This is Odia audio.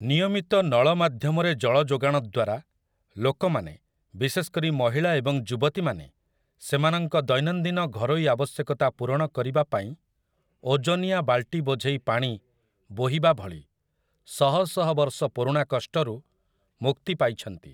ନିୟମିତ ନଳ ମାଧ୍ୟମରେ ଜଳ ଯୋଗାଣ ଦ୍ୱାରା ଲୋକମାନେ, ବିଶେଷ କରି ମହିଳା ଏବଂ ଯୁବତୀମାନେ ସେମାନଙ୍କ ଦୈନନ୍ଦିନ ଘରୋଇ ଆବଶ୍ୟକତା ପୂରଣ କରିବା ପାଇଁ ଓଜନିଆ ବାଲଟି ବୋଝେଇ ପାଣି ବୋହିବା ଭଳି ଶହ ଶହ ବର୍ଷ ପୁରୁଣା କଷ୍ଟରୁ ମୁକ୍ତି ପାଇଛନ୍ତି ।